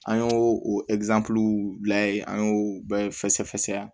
An y'o an y'o bɛɛ fɛsɛ fɛsɛ